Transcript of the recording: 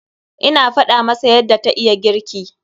Ina faɗa masa yadda ta iya girki.